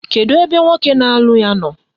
Kedu ebe nwoke na-alụ ya nọ?